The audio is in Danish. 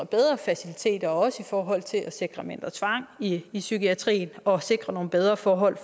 bedre faciliteter også i forhold til at sikre mindre tvang i i psykiatrien og sikre nogle bedre forhold